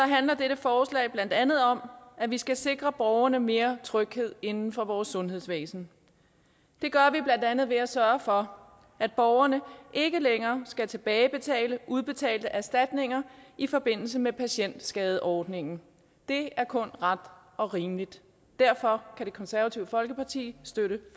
handler dette forslag blandt andet om at vi skal sikre borgerne mere tryghed inden for vores sundhedsvæsen det gør vi blandt andet ved at sørge for at borgerne ikke længere skal tilbagebetale udbetalte erstatninger i forbindelse med patientskadeordningen det er kun ret og rimeligt derfor kan det konservative folkeparti støtte